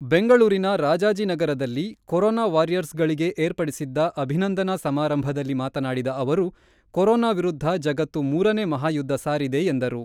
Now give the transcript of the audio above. ಬೆಂಗಳೂರಿನ ರಾಜಾಜಿನಗರದಲ್ಲಿ ಕೊರೊನಾ ವಾರಿಯರ್ಸ್‌ಗಳಿಗೆ ಏರ್ಪಡಿಸಿದ್ದ ಅಭಿನಂದನಾ ಸಮಾರಂಭದಲ್ಲಿ ಮಾತನಾಡಿದ ಅವರು, ಕೊರೊನಾ ವಿರುದ್ಧ ಜಗತ್ತು ಮೂರ ನೇ ಮಹಾಯುದ್ಧ ಸಾರಿದೆ ಎಂದರು.